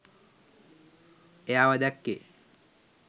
එයාව දැක්කේ?